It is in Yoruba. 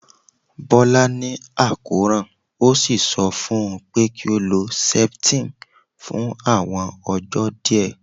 Bola ni akoran, o si sọ fun u pe ki o lo septine fun awọn ọjọ diẹ